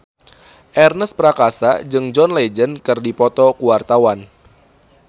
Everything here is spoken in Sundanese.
Ernest Prakasa jeung John Legend keur dipoto ku wartawan